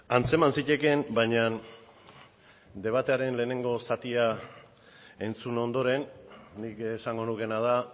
antzeman zitekeen baina debatearen lehenengo zatia entzun ondoren nik esango nukeena da